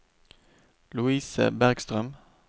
Lovise Bergstrøm